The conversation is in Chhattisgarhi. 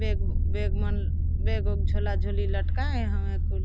बेग बेग मन बेग उग झोला झंडी ला लटकाये हमें--